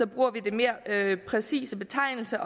bruger vi den mere præcise betegnelse